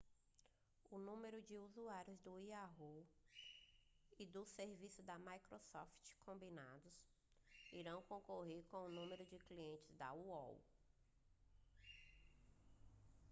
o número de usuários do yahoo e dos serviços da microsoft combinados irão concorrer com o número de clientes da aol